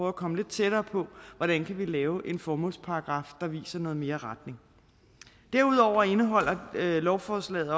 at komme lidt tættere på hvordan vi kan lave en formålsparagraf der viser noget mere retning derudover indeholder lovforslaget